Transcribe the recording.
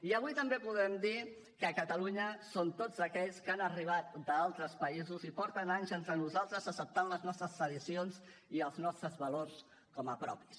i avui també podem dir que catalunya són tots aquells que han arribat d’altres països i porten anys entre nosaltres acceptant les nostres tradicions i els nostres valors com a propis